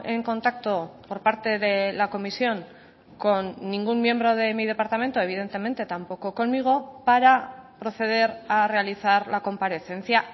en contacto por parte de la comisión con ningún miembro de mi departamento evidentemente tampoco conmigo para proceder a realizar la comparecencia